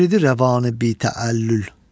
Yəridi rəvanı bi təəllül.